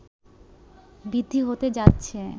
বৃদ্ধি হতে যাচ্ছে